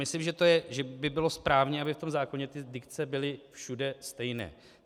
Myslím, že by bylo správné, aby v tom zákoně ty dikce byly všude stejné.